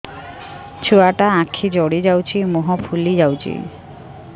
ଛୁଆଟା ଆଖି ଜଡ଼ି ଯାଉଛି ମୁହଁ ଫୁଲି ଯାଉଛି